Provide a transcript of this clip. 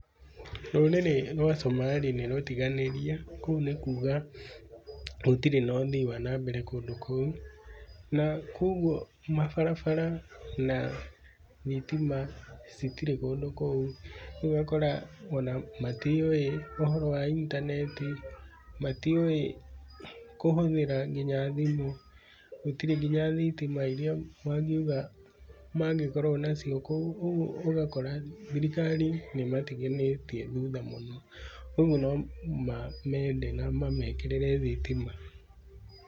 Rũrĩrĩ rwa Somali nĩrũtiganĩrie, kũu nĩ kuga gũtirĩ na ũthii wa na mbere kũndũ kũu, na kuoguo mabarabara na thitima, citirĩ kũndũ kũu. Kũu ũgakora ona matiũĩ ũhoro wa intaneti, matiũĩ kũhũthĩra kinya thimu, gũtirĩ kinya thitima iria mangiuga, mangĩkorũo nacio kũu. Ũguo ũgakora thirikari nĩmatiganĩtie thutha mũno. Ũguo no mamende na mamekĩrĩre thitima.